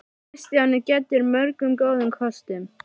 Kristján er gæddur mörgum góðum kostum.